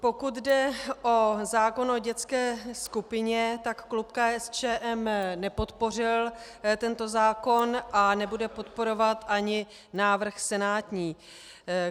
Pokud jde o zákon o dětské skupině, tak klub KSČM nepodpořil tento zákon a nebude podporovat ani návrh senátní.